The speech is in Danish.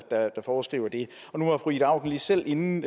foreskriver det nu var fru ida auken lige selv inde